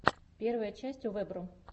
первая часть овэбро